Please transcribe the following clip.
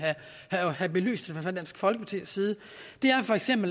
have belyst fra dansk folkepartis side